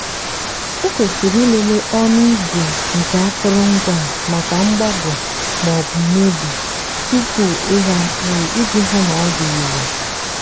ekwesịrị ịlele ọnụ igwe nke akụrụngwa a maka mgbagọ maọbụ mebie tupu ịgha mkpụrụ iji hụ na ọ dị irè.